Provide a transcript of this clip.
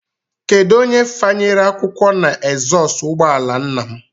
Kedụ onye fanyere akwụkwọ na ezọstụ ụgbọala nna m?